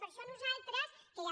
per això nosaltres que ja